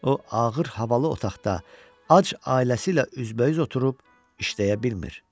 O ağır havalı otaqda ac ailəsi ilə üzbəüz oturub işləyə bilmir.